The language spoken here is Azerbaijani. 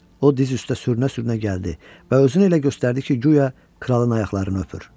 O diz üstə sürünə-sürünə gəldi və özünü elə göstərdi ki, guya kralın ayaqlarını öpür.